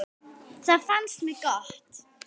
Það fannst mér gott.